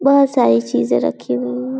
बहोत सारे चीज़ो रही हुई हु --